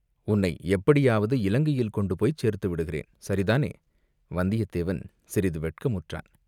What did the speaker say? உன்னை எப்படியாவது இலங்கையில் கொண்டு போய்ச் சேர்த்துவிடுகிறேன், சரிதானே?" வந்தியத்தேவன் சிறிது வெட்கமுற்றான்.